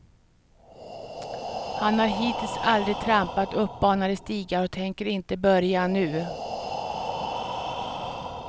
Han har hittills aldrig trampat uppbanade stigar och tänker inte börja nu.